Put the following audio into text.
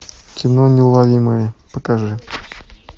кино неуловимые покажи